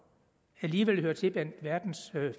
alligevel hører til blandt verdens